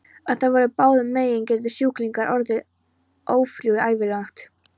Ef það verður báðum megin getur sjúklingurinn orðið ófrjór ævilangt.